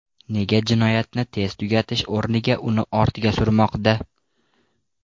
Nega jinoyatni tez tugatish o‘rniga uni ortga surmoqda?